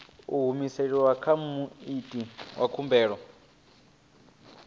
humiselwa kha muiti wa khumbelo